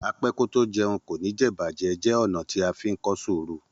Apẹ́kótójẹ kò ní jẹ̀'bàjẹ́ jẹ́ ọ̀nà tí a fí ń kọ́ sùúrù.